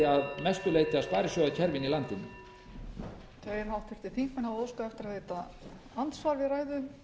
virðulegi forseti ég hef rætt hér í ræðum